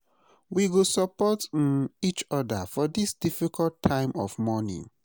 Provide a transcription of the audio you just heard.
We go support um each oda for dis difficult time of mourning.